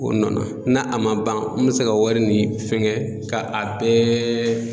O nɔ na n'a a ma ban n mi se ka wari nin fɛngɛ ka a bɛɛ